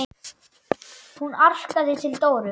Hún arkaði til Dóru.